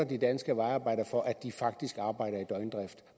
de danske vejarbejdere for at de faktisk arbejder i døgndrift i